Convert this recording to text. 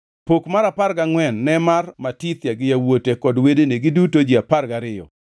Pok mar apar gangʼwen ne mar Matithia gi yawuote kod wedene, giduto ji apar gariyo,